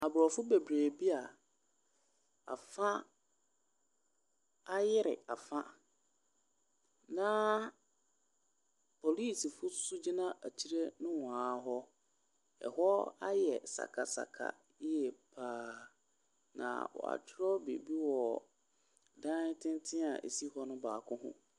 Aborɔfo bebree bi a afa ayere afa na polisifoɔ nso gyina akyire nohoa hɔ. Hɔ ayɛ sakasaka yie pa ara, na wɔatwerɛ biribi wɔ aborɔsan tenten a ɛsi hɔ no baako ho.